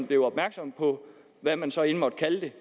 blev opmærksom på hvad man så end måtte kalde det